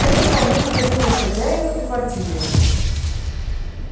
это вполне подходило и хозяину и квартире